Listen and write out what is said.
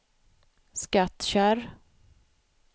Skattkärr